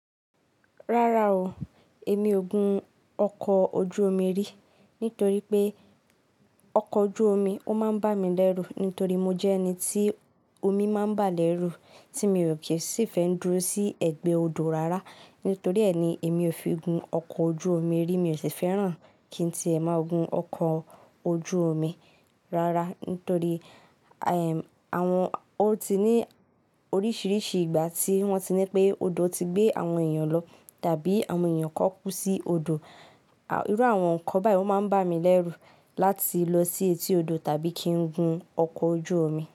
Rárá o, èmi ò gun ọkọ̀ ojú omi rí, nítorí pé ọkọ̀ ojú omi ó máa ń bá mi lẹ́rú nítorí mo jẹ́ ẹni tí omi máa ń bà lẹ́rù, tí mi ò kí sì fẹ́ dúró sí ẹ̀gbẹ́ odò rárá. Nítorí ẹni èmi ò fi gun ọkọ̀ ojú omi rí, mi ò sì fẹ́ràn kí n tí è máa gun ọkọ̀ ojú omi rárá. Nítorí, ẹm, àwọn, ó ti ní oríṣiríṣi ìgbà tí wọ́n ti ní pé odò ti gbé àwọn èèyàn lọ tàbí àwọn èèyàn kọ́ kú sí odò. Irú àwọn nǹkan báyìí máa ń bá mi lẹ́rú láti lọ sí etí odò tàbí kí n gun ọkọ̀ ojú omi.